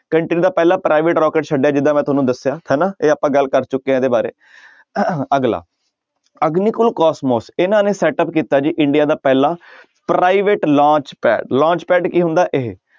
Country ਦਾ ਪਹਿਲਾ private rocket ਛੱਡਿਆ ਜਿੱਦਾਂ ਮੈਂ ਤੁਹਾਨੂੰ ਦੱਸਿਆ ਹਨਾ ਇਹ ਆਪਾਂ ਗੱਲ ਚੁੱਕੇ ਹਾਂ ਇਹਦੇ ਬਾਰੇ ਅਗਲਾ ਅਗਨੀਕੁਲ ਕੋਸਮੋਸ ਇਹਨਾਂ ਨੇ setup ਕੀਤਾ ਜੀ ਇੰਡੀਆ ਦਾ ਪਹਿਲਾ private launch pad launch pad ਕੀ ਹੁੰਦਾ ਇਹ